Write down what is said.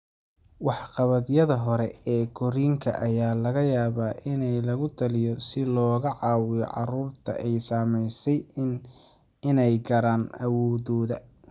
Waxqabadyada hore ee korriinka ayaa laga yaabaa in lagu taliyo si looga caawiyo carruurta ay saamaysay inay gaaraan awooddooda.